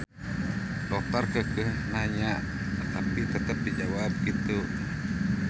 Dokter keukeuh nanya tapi tetep dijawab kitu.